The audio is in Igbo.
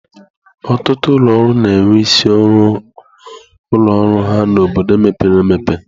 Ọtụtụ ụlọ ọrụ na-enwe isi ụlọ ọrụ ha n'obodo mepere emepe.